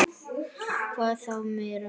Hvað þá meira.